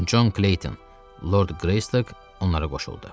Con Kleyton, Lord Qreystok onlara qoşuldu.